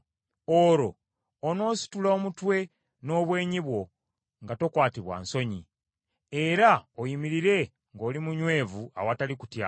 olwo onoositula omutwe n’obwenyi bwo nga tokwatibwa nsonyi, era oyimirire ng’oli munywevu awatali kutya.